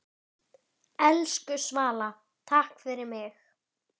Geisli getur átt við